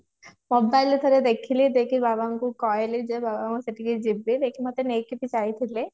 mobile ଥରେ ଦେଖିଲି ଯାଇକି ବାବା ଙ୍କୁ କହିଲି ଯେ ବାବା ମୁଁ ସେଠିକି ଯିବି ଯେ କି ମତେ ନେଇକି ବି ଯାଇଥିଲେ